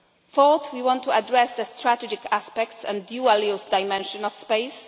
Fourth, we want to address the strategic aspects and dualist dimension of